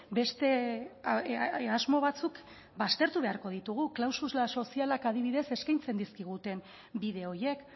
beste asmo batzuk aztertu beharko ditugu klausula sozialak adibidez eskaintzen dizkigute bide horiek